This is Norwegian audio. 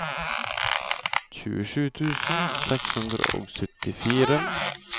tjuesju tusen seks hundre og syttini